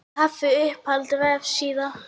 kaffi Uppáhalds vefsíða?